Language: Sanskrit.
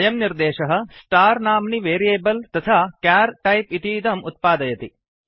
अयं निर्देशः स्टार् स्टार् नाम्नि वेरियेबल् तथा चर् क्यार् टैप् इतीदम् उत्पादयति